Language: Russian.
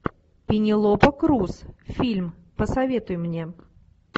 пенелопа крус фильм посоветуй мне